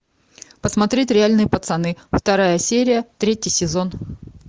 посмотреть реальные пацаны вторая серия третий сезон